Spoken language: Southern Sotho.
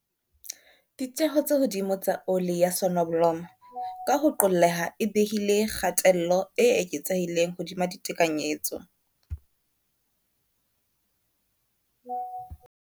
Ditjeo tse hodimo tsa oli ya sonobolomo, ka ho qolleha, e behile kgatello e eketsehileng hodima ditekanyetso.